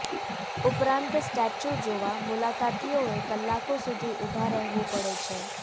ઉપરાંત સ્ટેચ્યૂ જોવા મુલાકાતીઓએ કલાકો સુધી ઊભા રહેવું પડે છે